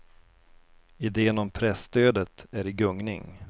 Iden om presstödet är i gungning.